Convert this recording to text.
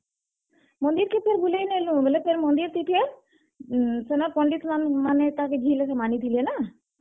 ମନ୍ଦିର୍ କେ ଫେର୍ ବୁଲେଇ ନେଲୁଁ ଫେର୍ ମନ୍ଦିର୍ ଥି ଫେର୍, ଉଁ ସେନର୍ ପଣ୍ଡିତ୍ ମାନେ ତାକେ ଝି ବାଗିର୍ ମାନିଥିଲେ ନା।